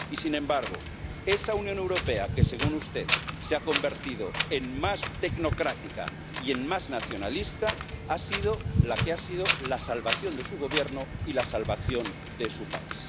Y, sin embargo, esa Unión Europea que, según usted, se ha convertido en más tecnocrática y en más nacionalista ha sido la salvación de su Gobierno y la salvación de su país.